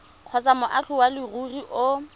kgotsa moagi wa leruri o